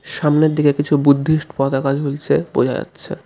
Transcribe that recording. সামনের দিকে কিছু বুদ্ধিস্ট পতাকা ঝুলছে বোঝা যাচ্ছে.